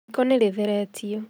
Riko nĩ rĩtheretio